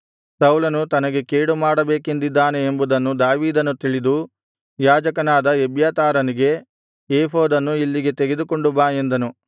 ಸೌಲನು ತನಗೆ ಕೇಡುಮಾಡಬೇಕೆಂದಿದ್ದಾನೆ ಎಂಬುದನ್ನು ದಾವೀದನು ತಿಳಿದು ಯಾಜಕನಾದ ಎಬ್ಯಾತಾರನಿಗೆ ಏಫೋದನ್ನು ಇಲ್ಲಿಗೆ ತೆಗೆದುಕೊಂಡು ಬಾ ಎಂದನು